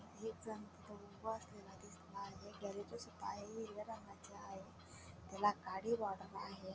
एक जण तिथ उभा असलेला दिसत आहे आहे हिरव्या रंगाच आहे त्याला काळी बॉर्डर आहे.